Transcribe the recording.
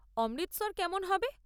অমৃতসর কেমন হবে?